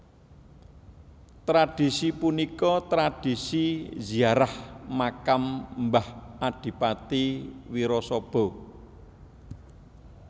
Tradhisi punika tradhisi ziarah makam mbah Adipati Wirasaba